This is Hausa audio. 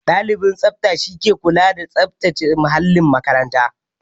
Ɗalibin tsabta shi ke kula da tsabtace muhallin makaranta